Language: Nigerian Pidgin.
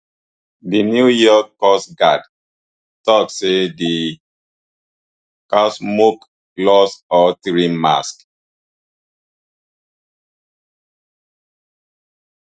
di new york coast guard tok say di lost all three masts